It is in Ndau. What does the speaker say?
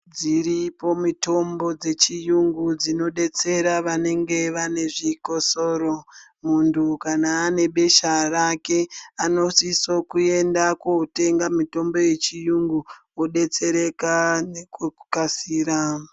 Dziripo mutombo dzechiyungu dzinodetsera vanenge vane zvikosoro mundu kana ane besha rake anosisa kuenda kotenga mutombo yechiyungu odetsereka nekukasira.